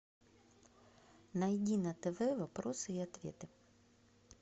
найди на тв вопросы и ответы